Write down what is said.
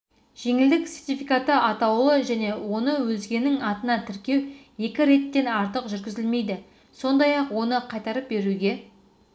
жеңілдік сертификаты атаулы және оны өзгенің атына тіркеу екі реттен артық жүргізілмейді сондай-ақ оны қайтарып беруге